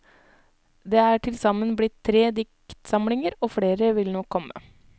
Det er tilsammen blitt tre diktsamlinger, og flere vil nok komme.